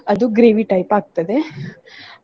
ಅದು gravy type ಆಗ್ತದೆ.